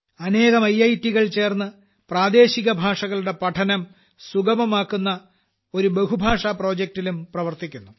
അനേകം ഐറ്റ് കൾ ചേർന്ന് പ്രാദേശിക ഭാഷകളുടെ പഠനം സുഗമമാക്കുന്ന ഒരു ബഹുഭാഷി പ്രൊജക്ടിലും പ്രവർത്തിക്കുന്നു